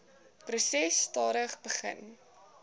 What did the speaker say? proses stadig begin